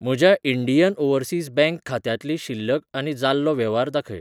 म्हज्या Indian Overseas Bank खात्यांतली शिल्लक आनी जाल्लो वेव्हार दाखय.